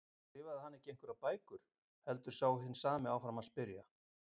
Skrifaði hann ekki einhverjar bækur? heldur sá hinn sami áfram að spyrja.